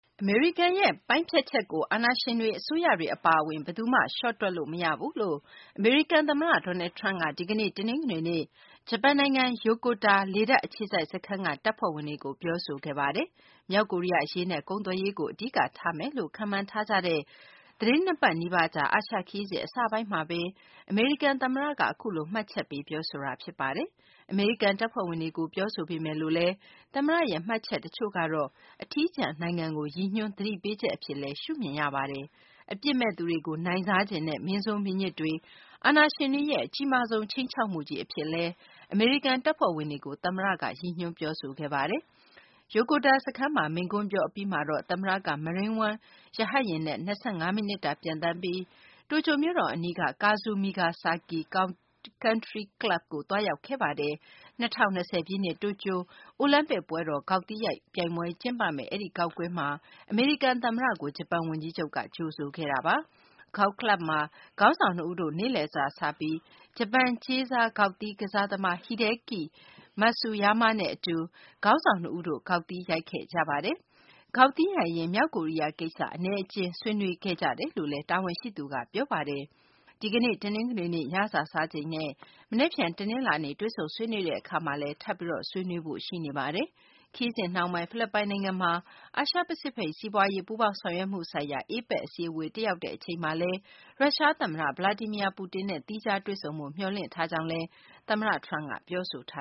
အမေရိကန်ရဲ့ ပိုင်းဖြတ်ချက်ကို အာဏာရှင်တွေ၊ အစိုးရတွေ အပါအဝင် ဘယ်သူမှ လျှော့တွက်လို့ မရဘူးလို့ အမေရိကန် သမ္မတ Donald Trump က ဒီကနေ့ တနင်္ဂနွေနေ့ ဂျပန်နိုင်ငံ ယိုကိုတာ လေတပ်အခြေစိုက်စခန်းက တပ်ဖွဲ့ဝင်တွေကို ပြောဆိုခဲ့ပါတယ်။ မြောက်ကိုရီးယား အရေးနဲ့ ကုန်သွယ်ရေးကို အဓိကထားမယ်လို့ ခန့်မှန်းထားကြတဲ့ သတင်း ၂ ပတ် နီးပါးကြာ အာရှခရီးစဉ် အစပိုင်းမှာဘဲ အမေရိကန် သမ္မတက အခုလို မှတ်ချက်ပေး ပြောဆိုတာ ဖြစ်ပါတယ်။ အမေရိကန် တပ်ဖွဲ့ဝင်တွေကို ပြောဆိုပေမယ်လို့လည်း သမ္မတရဲ့ မှတ်ချက် တချို့ကတော့ အထီးကျန်နိုင်ငံကို ရည်ညွှန်း သတိပေးချက် အဖြစ်လည်း ရှုမြင်ရပါတယ်။ အပြစ်မဲ့သူတွေကို နိုင်စားချင်တဲ့ မင်းဆိုးမင်းညစ်တွေ၊ အာဏာရှင်တွေရဲ့ အကြီးမားဆုံး ခြိမ်းခြောက်မှုကြီး အဖြစ် အမေရိကန် တပ်ဖွဲ့ဝင်တွေကို သမ္မတက ရည်ညွှန်း ပြောဆိုခဲ့တာပါ။ ယိုကိုတာ စခန်းမှာ မိန့်ခွန်းပြော အပြီးမှာတော့ သမ္မတက Marine One ရဟတ်ယာဉ်နဲ့ ၂၅ မိနစ်တာ ပျံသန်းပြီး တိုကျိုမြို့တော် အနီးက Kasumigaseki Country Club ကို သွားရောက်ခဲ့ပါတယ်။ ၂၀၂၀ ပြည့်နှစ် တိုကျိုအိုလံပစ်ပွဲတော် ဂေါက်သီးရိုက်ပြိုင်ပွဲ ကျင်းပမယ့် အဲဒီဂေါက်ကွင်းမှာ အမေရိကန် သမ္မတကို ဂျပန် ဝန်ကြီးချုပ်က ကြိုဆိုခဲ့ပါတယ်။ ဂေါက်ကလပ်မှာ ခေါင်းဆောင်နှစ်ဦးတို့ နေ့လည်စာစားပြီး ဂျပန် ကြေးစား ဂေါက်သီး ကစားသမား Hideki Matsuyama နဲ့ အတူ ခေါင်းဆောင်နှစ်ဦးတို့ ဂေါက်ရိုက်ခဲ့ကြပါတယ်။ ဂေါက်သီးရိုက်ရင်း မြောက်ကိုရီးယား ကိစ္စ အနည်းအကျဉ်း ဆွေးနွေးခဲ့ကြကြောင်းလည်း တာဝန်ရှိသူက ပြောပါတယ်။ ဒီကနေ့ တနင်္ဂနွေနေ့ ညစာစားချိန်နဲ့ မနက်ဖြန် တနလာၤနေ့ တွေ့ဆုံဆွေးနွေးတဲ့ အခါမှာလည်း ထပ်ပြီး ဆွေးနွေးဖို့ ရှိနေပါတယ်။ ခရီးစဉ်နှောင်းပိုင်း ဖိလစ်ပိုင်နိုင်ငံမှာ အာရှပစိဖိတ် စီးပွားရေး ပူးပေါင်းဆောင်ရွက်မှု ဆိုင်ရာ APEC အစည်းအဝေး တက်ရောက်တဲ့ အချိန်မှာလည်း ရုရှား သမ္မတ Vladimir Putin နဲ့ သီးခြား တွေ့ဆုံဖို့ မျှော်လင့်ထားကြောင်းလည်း သမ္မတ Trump က ပြောဆိုထာ